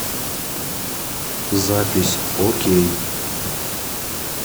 запись окей